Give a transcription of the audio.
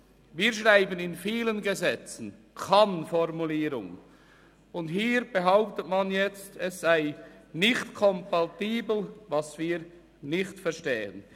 Wir schreiben in vielen Gesetzen Kann-Formulierungen fest, und hier behauptet man jetzt, es sei nicht kompatibel, was wir nicht verstehen.